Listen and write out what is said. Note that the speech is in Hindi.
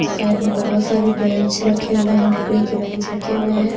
साइड में बहुत सारे बेंच रखे हुए हैं लकड़ी के बेंच रखे हुए हैं।